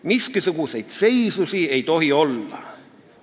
Miskisuguseid seisusi ei tohi olla.